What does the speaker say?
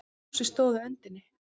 Fúsi stóð á öndinni.